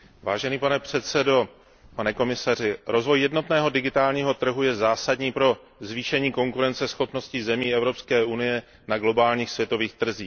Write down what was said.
Pane předsedající, rozvoj jednotného digitálního trhu je zásadní pro zvýšení konkurenceschopnosti zemí Evropské unie na globálních světových trzích.